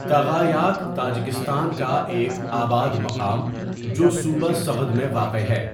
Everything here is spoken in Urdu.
تغایاک تاجکستان کا ایک آباد مقام جو صوبہ سغد میں واقع ہے.